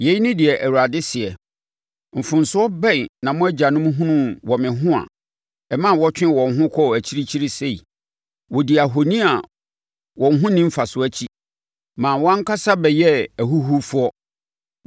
Yei ne deɛ Awurade seɛ: “Mfomsoɔ bɛn na mo agyanom hunuu wɔ me ho a ɛma wɔtwee wɔn ho kɔɔ akyirikyiri sei? Wɔdii ahoni a wɔn ho nni mfasoɔ akyi, ma wɔn ankasa bɛyɛɛ ahuhufoɔ.